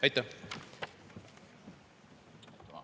Aitäh!